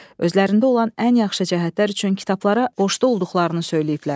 Özlərində olan ən yaxşı cəhətlər üçün kitablara borşlu olduqlarını söyləyiblər.